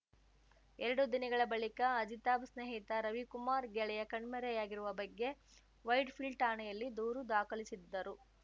ಎರಡು ದಿನಗಳ ಬಳಿಕ ಅಜಿತಾಬ್‌ ಸ್ನೇಹಿತ ರವಿಕುಮಾರ್‌ ಗೆಳೆಯ ಕಣ್ಮೆರೆಯಾಗಿರುವ ಬಗ್ಗೆ ವೈಟ್‌ಫೀಲ್ಡ್‌ ಠಾಣೆಯಲ್ಲಿ ದೂರು ದಾಖಲಿಸಿದ್ದರು